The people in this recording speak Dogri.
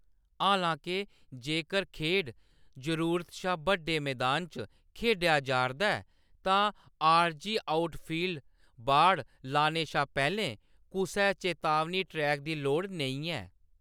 हालां-के, जेकर खेढ जरूरत शा बड्डे मैदाना च खेढेआ जा 'रदा ऐ, तां आरजी आउटफील्ड बाड़ लाने शा पैह्‌‌‌लें कुसै चेतावनी ट्रैक दी लोड़ नेईं ऐ।